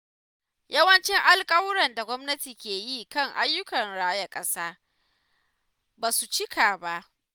Yawancin alkawuran da gwamnati ke yi kan ayyukan raya ƙasa ba su cika ba.